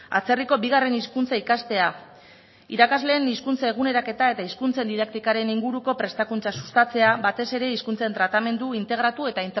atzerriko bigarren hizkuntza ikastea irakasleen hizkuntza eguneraketa eta hizkuntza didaktikaren inguruko prestakuntza sustatzea batez ere hizkuntzen tratamendu integratu eta